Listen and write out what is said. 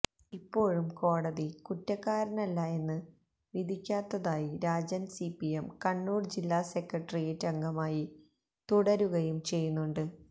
ഇപ്പോഴും കോടതി കുറ്റക്കാരനല്ല എന്ന് വിധിക്കാത്ത കാരായി രാജൻ സിപിഎം കണ്ണൂർ ജില്ല സെക്രട്ടേറിയറ്റ് അംഗമായി തുടരുകയും ചെയ്യുന്നുണ്ട്